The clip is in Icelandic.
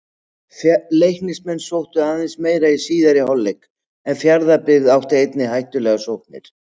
Leiknismenn sóttu aðeins meira í síðari hálfleik en Fjarðabyggð átti einnig hættulegar sóknir.